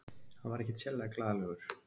Hann var ekkert sérlega glaðlegur.